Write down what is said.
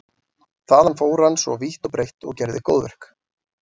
Þaðan fór hann svo vítt og breitt og gerði góðverk.